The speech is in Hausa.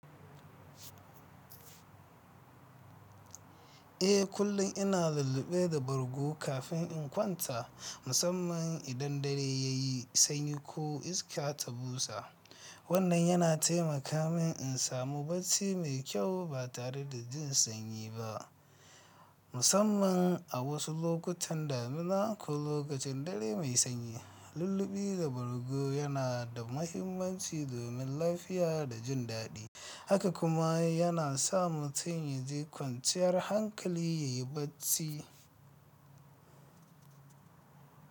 Eh, kullum ina lulluɓe da bargo kafin in kwanta, musamman idan dare ya yi sanyi ko iska ta busa. Wannan yana taimaka min in samu bacci mai kyau ba tare da jin sanyi ba, musamman a wasu lokutan damina ko lokacin dare mai sanyi. Lulluɓi da bargo yana da mahimmanci domin lafiya da jin daɗi, haka kuma yana sa mutum ya ji kwanciyar hankali ya yi bacci.